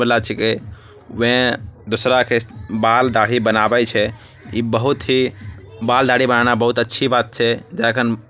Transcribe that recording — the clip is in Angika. वे दूसरा के बाल‌‌ दाढ़ी बनावे छे बाल दाढ़ी बनान बहुत अच्छी बात छे जेके -जेकरा कारण के मनुष्य सुंदर दिखे छे।